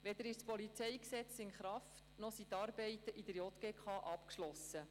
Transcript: Weder ist das Polizeigesetz (PolG) in Kraft, noch sind die Arbeiten in der JGK abgeschlossen.